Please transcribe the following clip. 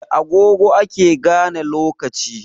Da agogo ake gane lokaci